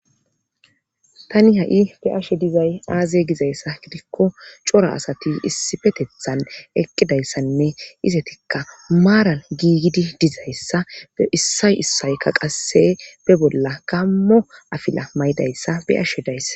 tani ha7i be ashe dizay aaze gizayssa gidikko cora asati issi petethan eqqidayssanne izetikka maaral giigidi dizayssa e issay issaykka qasse be bolla kammo afila maydayssa be ashe dayssa